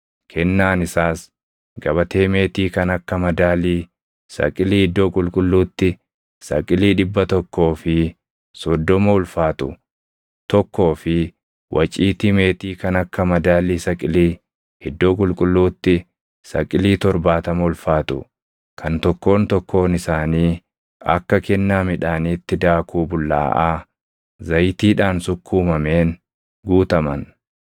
Kennaan isaas gabatee meetii kan akka madaalii saqilii iddoo qulqulluutti saqilii dhibba tokkoo fi soddoma ulfaatu tokkoo fi waciitii meetii kan akka madaalii saqilii iddoo qulqulluutti saqilii torbaatama ulfaatu kan tokkoon tokkoon isaanii akka kennaa midhaaniitti daakuu bullaaʼaa zayitiidhaan sukkuumameen guutaman,